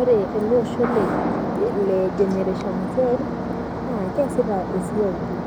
Ore ele osho le generation z na keasita esiai pii